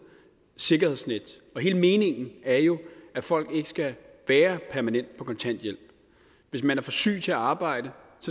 sikkerhedsnet og hele meningen er jo at folk ikke skal være permanent på kontanthjælp hvis man er for syg til at arbejde